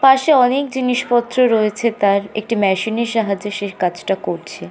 পাশে অনেক জিনিস পত্র রয়েছে তার একটি মেশিন এর সাহায্যে সে কাজটা করছে।